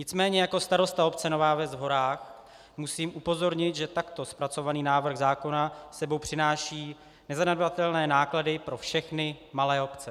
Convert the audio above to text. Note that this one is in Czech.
Nicméně jako starosta obce Nová Ves v Horách musím upozornit, že takto zpracovaný návrh zákona s sebou přináší nezanedbatelné náklady pro všechny malé obce.